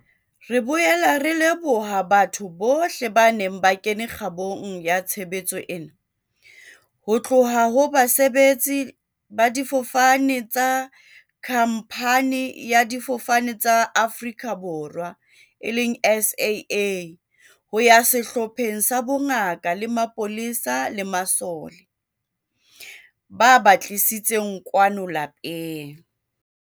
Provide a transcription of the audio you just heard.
Re boela re leboha batho bohle ba neng ba kene kgabong ya tshebetso ena, ho tloha ho basebetsi ba difofane tsa khamphani ya Difofane tsa Afrika Borwa, SAA, ho ya sehlopheng sa bongaka le mapolesa le masole, ba ba tlisitseng kwano lapeng.